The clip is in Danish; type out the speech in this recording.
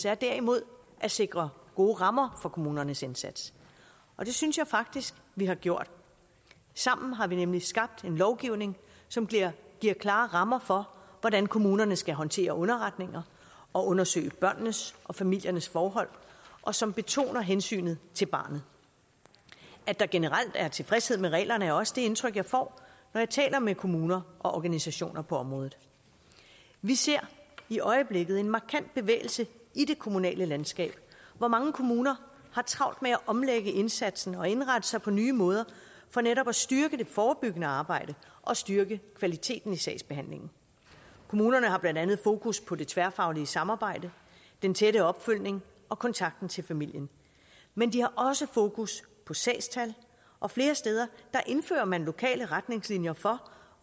er derimod at sikre gode rammer for kommunernes indsats og det synes jeg faktisk vi har gjort sammen har vi nemlig skabt en lovgivning som giver klare rammer for hvordan kommunerne skal håndtere underretninger og undersøge børnenes og familiernes forhold og som betoner hensynet til barnet at der generelt er tilfredshed med reglerne er også det indtryk jeg får når jeg taler med kommuner og organisationer på området vi ser i øjeblikket en markant bevægelse i det kommunale landskab hvor mange kommuner har travlt med at omlægge indsatsen og indrette sig på nye måder for netop at styrke det forebyggende arbejde og styrke kvaliteten i sagsbehandlingen kommunerne har blandt andet fokus på det tværfaglige samarbejde den tætte opfølgning og kontakten til familien men de har også fokus på sagstal og flere steder indfører man lokale retningslinjer for